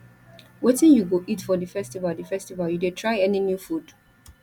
wetin you go eat for di festival di festival you dey try any new food